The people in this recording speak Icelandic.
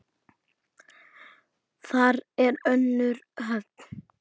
Þar er önnur höfn.